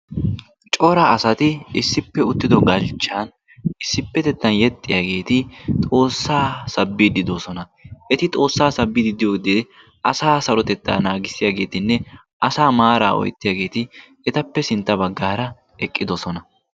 cora asati issippe uttido galchcha issipetettan yeexxiyaageeti Xoossa sabbide doosona. eti xoossa sabbide diyooga asa maara oyttiyaageeti etappe sintta baggara eqqidoosona.